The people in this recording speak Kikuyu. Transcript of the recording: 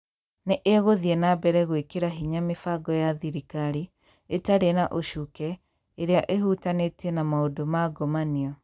Nĩ ĩgũthiĩ na mbere gwĩkĩra hinya mĩbango ya thirikari ĩtarĩ na ũcuuke ĩrĩa ĩhutanĩtie na maũndũ ma ngomanio.